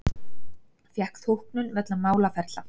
Fékk þóknun vegna málaferla